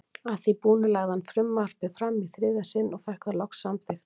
Að því búnu lagði hann frumvarpið fram í þriðja sinn og fékk það loks samþykkt.